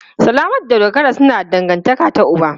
Salama da Dogara suna da dangantaka ta uba.